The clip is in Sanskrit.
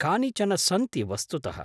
कानिचन सन्ति वस्तुतः।